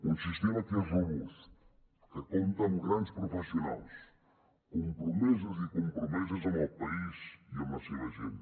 un sistema que és robust que compta amb grans professionals compromesos i compromeses amb el país i amb la seva gent